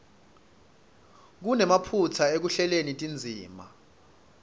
kunemaphutsa ekuhleleni tindzima